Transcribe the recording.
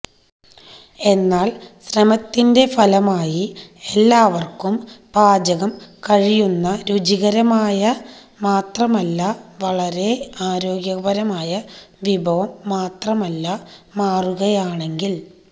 എന്നാൽ ശ്രമത്തിന്റെ ഫലമായി എല്ലാവർക്കും പാചകം കഴിയുന്ന രുചികരമായ മാത്രമല്ല വളരെ ആരോഗ്യകരമായ വിഭവം മാത്രമല്ല മാറുകയാണെങ്കിൽ